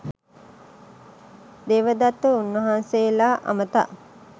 දේවදත්ත උන්වහන්සේලා අමතා